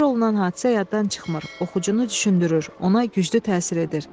Təsvir olunan hadisə yaddan çıxmır, oxucunu düşündürür, ona güclü təsir edir.